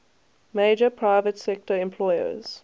major private sector employers